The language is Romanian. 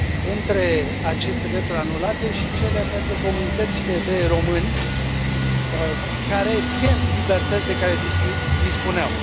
Între aceste drepturi anulate și cele pentru comunitățile de români care pierd libertăți de care dispuneau.